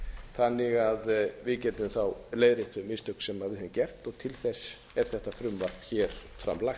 þannig að við getum leiðrétt þau mistök sem við höfum gert og til þess er þetta frumvarp hér fram lagt